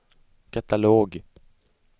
katalog